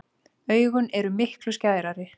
Augun eru miklu skærari.